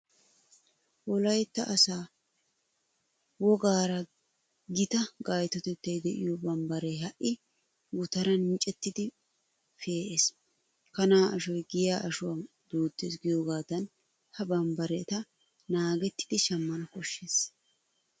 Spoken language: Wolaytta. Wolaytta asaa wogaara gita gaytotettay de'iyo bambbaree ha'i gutaran micettidi pe'ees. Kanaa ashoy giyaa ashuwa duuttees giyogaadan ha bambbareta naagettidi shammana koshshees.